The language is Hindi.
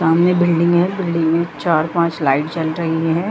सामने बिल्डिंग है बिल्डिंग में चार-पांच लाइट जल रही है।